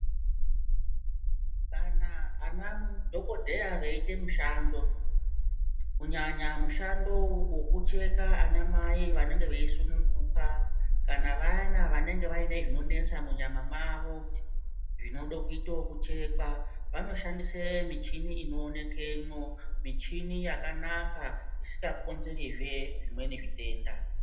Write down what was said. Kana anadhogodheya veite mushando ,kunyanya mushando wokucheka anamai vanenge veyisununguka kana vana vanenge vaine zvinonetsa munyama mavo zvinodakuitwa kuchekwa vanoshandise michini inowonekwemo ,michini yakanaka isingakonzeri zve zvimweni zvitenda.